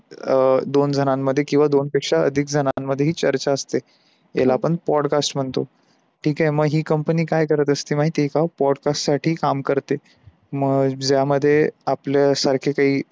अ दोन जणांन मध्ये किवा दोन पेक्षा अधिक जणांन मध्ये हि चर्चा असते. त्याला आपण podcast म्हणतो. ठीक आहे म्ग हि company काय करत असते माहितेय का podcast साठी काम करते. मग ज्यामध्ये आपले सारखे काई